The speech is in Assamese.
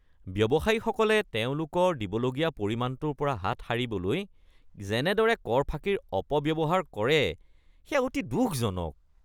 ব্যৱসায়ীসকলে তেওঁলোকৰ দিবলগীয়া পৰিমাণটোৰ পৰা হাত সাৰিবলৈ যেনেদৰে কৰ ফাঁকিৰ অপব্যৱহাৰ কৰে সেয়া অতি দুখজনক।